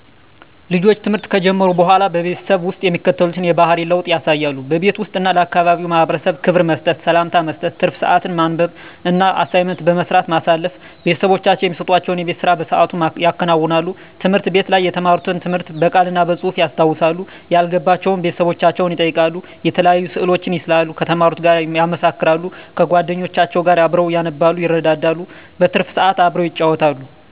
ልጆች ትምህርት ከጀመሩ በሆላ በቤተሰብ ውስጥ የሚከተሉትን የባህሪ ለውጥ ያሳያሉ:-በቤት ውስጥ እና ለአካባቢው ማህበረሰብ ክብር መስጠት፤ ሰላምታ መስጠት፤ ትርፍ ስአትን በማንበብ እና አሳይመንት በመስራት ማሳለፍ፤ ቤተሰቦቻቸው እሚሰጡዋቸውን የቤት ስራ በስአቱ ያከናውናሉ፤ ትምህርት ቤት ላይ የተማሩትን ትምህርት ብቅል እና በጹህፍ ያስታውሳሉ፤ ያልገባቸውን ቤተሰቦቻቸውን ይጠይቃሉ፤ የተለያዩ ስእሎችን ይስላሉ ከተማሩት ጋር ያመሳክራሉ፤ ከጎደኞቻቸው ጋር አብረው ያነባሉ ይረዳዳሉ። በትርፍ ስአት አብረው ይጫወታሉ።